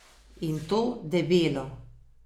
In to debelo.